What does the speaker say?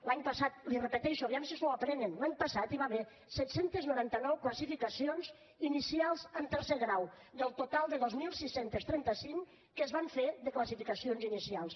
l’any passat l’hi repeteixo aviam si s’ho aprenen l’any passat hi va haver set cents i noranta nou classificacions inicials en tercer grau del total de dos mil sis cents i trenta cinc que es van fer de classificacions inicials